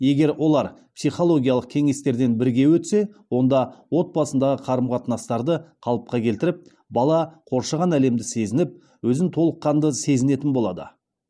егер олар психологиялық кеңестерден бірге өтсе онда отбасындағы қарым қатынастарды қалыпқа келтіріп бала қоршаған әлемді сезініп өзін толыққанды сезінетін болады